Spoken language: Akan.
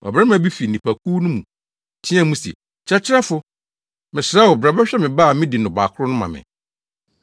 Ɔbarima bi fi nnipakuw no mu teɛɛ mu se, “Kyerɛkyerɛfo, mesrɛ wo, bra bɛhwɛ me ba a midi no bakoro ma me;